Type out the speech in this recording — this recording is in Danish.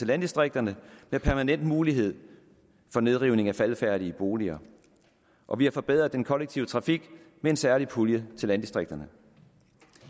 landdistrikterne med permanent mulighed for nedrivning af faldefærdige boliger og vi har forbedret den kollektive trafik med en særlig pulje til landdistrikterne